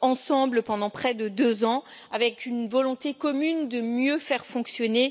collectivement pendant près de deux ans, avec une volonté commune de mieux faire fonctionner